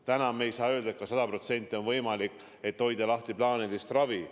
Täna me ei saa öelda, et sada protsenti on võimalik anda plaanilist ravi.